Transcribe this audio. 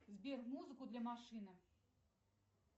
сбер музыку для машины